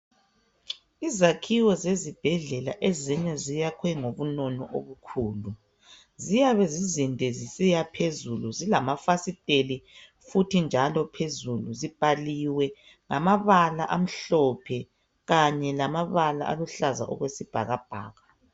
Izakhiwo zezibhedlela, ezinye ziyakhwe ngobunono obukhulu. Ziyabe zizinde zisiyaphezulu ,zilamafasiteli futhi njalo phezulu. Zibhaliwe ngamabala amhlophe kanye lamabala aluhlaza okwesibhakabhaka.